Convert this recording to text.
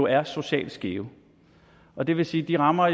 er socialt skæve og det vil sige at de rammer